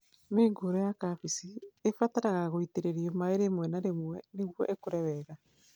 Mĩũngũrwa ya kambĩji ĩbataraga gũitĩrĩrio maĩ rĩmwe na rĩmwe nĩguo ĩkũre wega